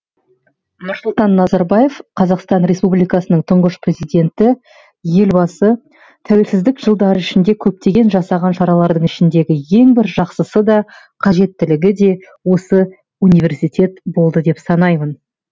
нұрсұлтан назарбаев қазақстан республикасының тұңғыш президенті елбасы тәуелсіздік жылдары ішінде көптеген жасаған шаралардың ішіндегі ең бір жақсысы да қажеттілігі де осы университет болды деп санаймын